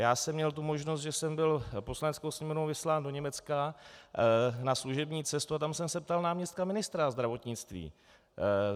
Já jsem měl tu možnost, že jsem byl Poslaneckou sněmovnou vyslán do Německa na služební cestu, a tam jsem se ptal náměstka ministra zdravotnictví.